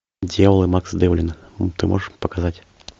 дьявол и макс девлин ты можешь показать